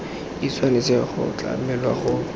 e tshwanetse go tlamelwa go